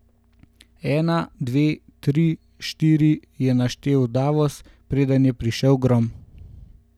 Ena, dve, tri, štiri, je naštel Davos, preden je prišel grom.